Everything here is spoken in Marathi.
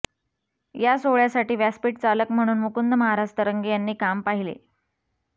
या सोहळ्यासाठी व्यासपीठ चालक म्हणून मुकुंद महाराज तरंगे यांनी काम पाहिले